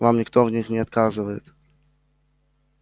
вам никто в них не отказывает